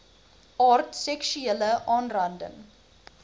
aard seksuele aanranding